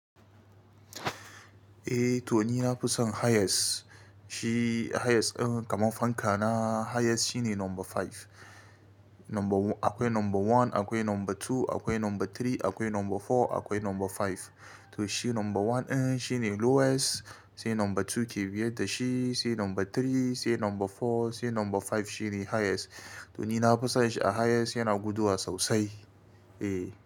Eh to ni na fi son highest. Shi highest, kamar fanka na highest shine number five. Number akwai number one, akwai number two, akwai number three, akwai number four, akwai number five. To shi number one shi ne lowest, sai number two ke biye da shi, sai number three, sai number four, sai number five shine highest. To ni na fi son shi a highest yana guduwa sosai. Eh.